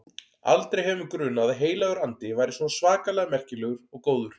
Aldrei hefur mig grunað að Heilagur Andi væri svona svakalega merkilegur og góður.